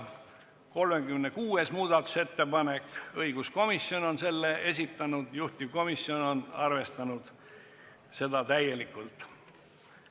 Ka 36. muudatusettepaneku on esitanud õiguskomisjon ja juhtivkomisjon on arvestanud seda täielikult.